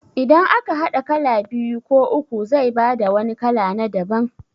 Idan aka haɗa kala biyu ko uku zai bada wani kala na daban